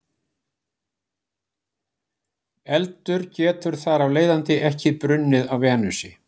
eldur getur þar af leiðandi ekki brunnið á venusi